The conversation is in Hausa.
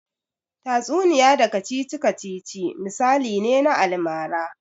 Tatsuniya da kacici-kacici misali ne na almara.